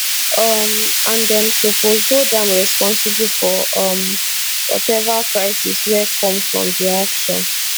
um and dem suppose hold am responsible for um whatever crisis wey come from di action